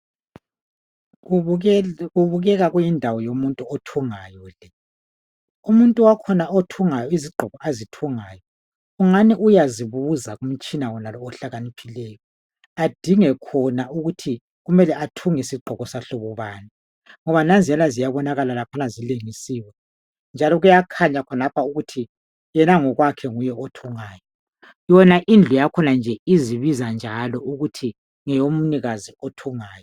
Kubukeka kuyindawo yomuntu othungayo le. Umuntu wakhona othungayo izigqoko azithungayo kungani uyazibuza kumtshina wonalo ohlakaniphileyo adinge khona ukuthi kumele athunge sigqoko sahlobo bani ngoba nanziyana ziyabonakala laphana zilengisiwe njalo kuyakhanya khonapha ukuthi yena ngokwakhe nguye othungayo. Yona indlu yakhona nje izibiza njalo ukuthi ngeyomnikazi othungayo.